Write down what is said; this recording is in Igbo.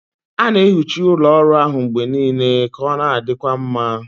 A na-ehicha ụlọ ọrụ ahụ mgbe niile ka ọ na-adịkwa mma.